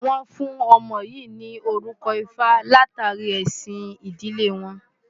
Wọ́n fún ọmọ yìí ní orúkọ Ifá látàrí ẹ̀sìn ìdílé wọn.